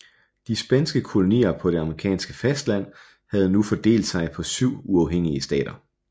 De spanske kolonier på det amerikanske fastland havde nu fordelt sig på syv uafhængige stater